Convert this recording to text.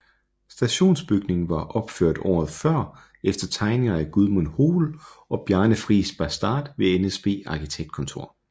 Stationsbygningen var opført året før efter tegninger af Gudmund Hoel og Bjarne Friis Baastad ved NSB Arkitektkontor